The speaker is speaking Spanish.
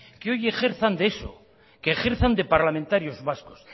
que hoy ejerzan de eso que ejerzan de parlamentarios vascos